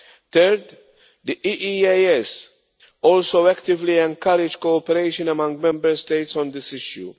Third, the EEAS also actively encourages cooperation among Member States on this issue.